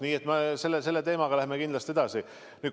Nii et me läheme selle teemaga kindlasti edasi.